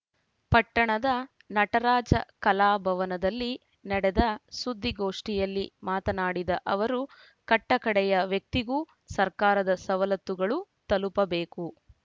ಪಟ್ಟಣದ ನಟರಾಜ ಕಲಾಭವನದಲ್ಲಿ ನಡೆದ ಸುದ್ದಿಗೋಷ್ಠಿಯಲ್ಲಿ ಮಾತನಾಡಿದ ಅವರು ಕಟ್ಟಕಡೆಯ ವ್ಯಕ್ತಿಗೂ ಸರ್ಕಾರದ ಸವಲತ್ತುಗಳು ತಲುಪಬೇಕು